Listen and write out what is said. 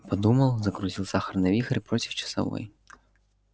подумал закрутил сахарный вихрь против часовой